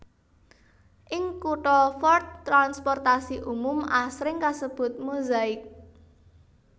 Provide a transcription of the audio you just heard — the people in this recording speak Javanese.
Ing kutha Fort transportasi umum asring kasebut Mozaik